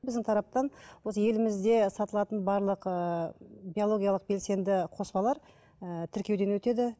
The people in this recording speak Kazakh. біздің тараптан осы елімізде сатылатын барлық ыыы биологиялық белсенді қоспалар ыыы тіркеуден өтеді